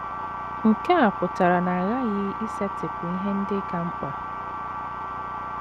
Nke a pụtara na a ghaghị isetịpụ ihe ndị ka mkpa.